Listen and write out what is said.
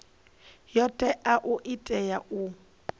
yo teaho i tea u